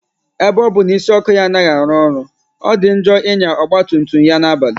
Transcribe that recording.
Ebe ọ bụ na isi ọkụ ya anaghị arụ ọrụ, ọ dị njọ ịnya ọgba tum tum ya na-abalị